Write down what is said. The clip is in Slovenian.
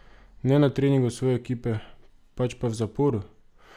Ne na treningu svoje ekipe, pač pa v zaporu!